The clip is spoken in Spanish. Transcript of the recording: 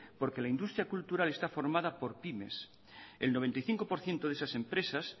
porque la industria cultural está formada por pymes el noventa y cinco por ciento de esas empresas